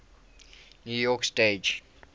new york stage